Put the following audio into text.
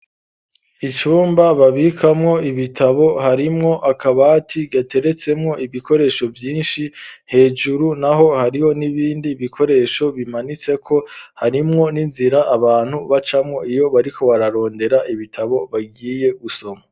Icumba babikamwo ibitabo, harimwo akabati gateretsemwo ibikoresho vyinshi, hejuru naho, hariho n'ibindi bikoresho bimanitseko; harimwo n'inzira abantu bacamwo, iyo bariko bararondera ibitabo bagiye gusoma.